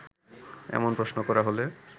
এমন প্রশ্ন করা হলে